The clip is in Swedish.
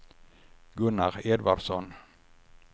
Gunnar Edvardsson